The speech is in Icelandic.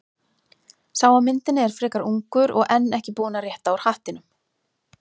Sá á myndinni er frekar ungur og enn ekki búinn að rétta úr hattinum.